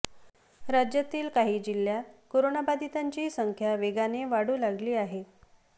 राज्यातील काही जिल्ह्यांत करोनाबाधितांची संख्या वेगाने वाढू लागली आहे